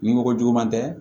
Ni mɔgɔ jugu man tɛ